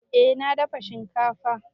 Eh na dafa shinkafa.